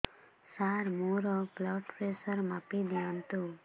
ସାର ମୋର blood pressure ମାପି ଦିଅନ୍ତୁ